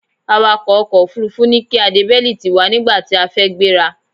Awàkọ̀ ọkò òfurufú ní kí a de bẹ́lítì wa nígbàtí a fẹ́ gbéra.